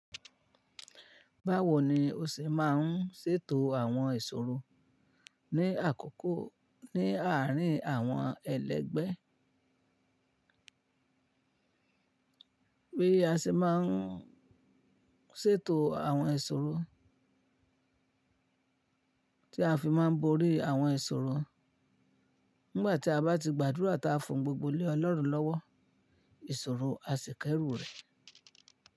Báwo ni o ṣe máa ń ṣètò àwọn ìṣòro ní àkókò ní àárín àwọn ẹlẹgbẹ́? Bí a ṣe máa ń ṣètò àwọn ìṣòro tí a fi máa ń borí àwọn ìṣòro nígbà tí a bá ti gbàdúrà tá fún gbogbo lẹ̀ ọlọ́run lọ́wọ́ ìṣòro àsìkẹ́rù rẹ̀.